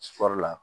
la